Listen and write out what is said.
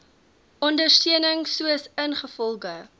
ondersteuning soos ingevolge